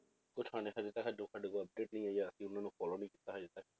update ਨੀ ਆਂ ਜਾਂ ਅਸੀਂ ਉਹਨਾਂ ਨੂੰ follow ਨੀ ਕੀਤਾ ਹਜੇ ਤੱਕ